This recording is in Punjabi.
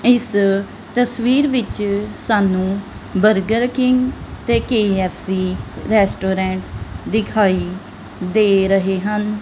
ਇਸ ਤਸਵੀਰ ਵਿੱਚ ਸਾਨੂੰ ਬਰਗਰ ਕਿੰਗ ਤੇ ਕੇ_ਐਫ_ਸੀ ਰੈਸਟੋਰੈਂਟ ਦਿਖਾਈ ਦੇ ਰਹੇ ਹਨ।